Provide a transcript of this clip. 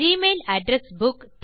Gmail address book